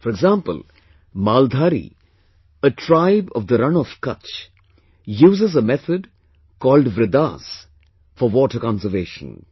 For example, 'Maldhari', a tribe of "Rann of Kutch" uses a method called "Vridas" for water conservation